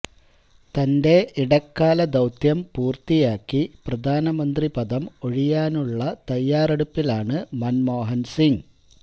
തന്റെ ഇടക്കാല ദൌത്യം പൂര്ത്തിയാക്കി പ്രധാനമന്ത്രി പദം ഒഴിയാനുള്ള തയ്യാറെടുപ്പിലാണ് മന്മോഹന്സിംഗ്